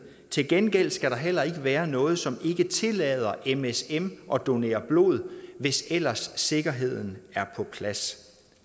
til gengæld skal der heller ikke være noget som ikke tillader msm at donere blod hvis ellers sikkerheden er på plads